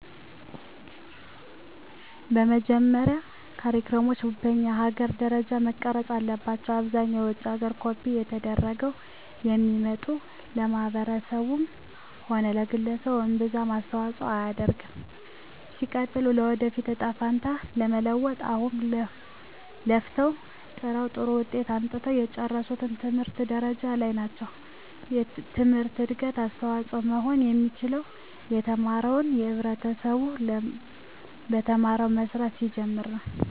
በመጀመሪያ ካሪክለሞች በኛ ሀገር ደረጃ መቀረፅ አለባቸው። አብዛኛው ከውጭ ሀገር ኮፒ ተደርገው ስለሚመጡ ለማህበረሰቡም ሆነ ለግለሰቡ እምብዛም አስተዋፅሆ አያደርግም። ሲቀጥል የወደፊት እጣ ፈንታውን ለመለወጥ አሁን ለፍተው ጥረው ጥሩ ውጤት አምጥተው የጨረሱት ምን ደረጃ ላይ ናቸው ትምህርት ለእድገት አስተዋፅሆ መሆን የሚችለው የተማረው ህብረተሰብ በተማረበት መስራት ሲጀምር ነው።